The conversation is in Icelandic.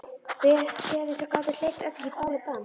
Peðin sem gátu hleypt öllu í bál og brand.